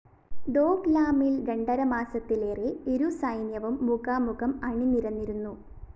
ദോക്‌ലാമില്‍ രണ്ടര മാസത്തിലേറെ ഇരുസൈന്യവും മുഖാമുഖം അണിനിരന്നിരുന്നു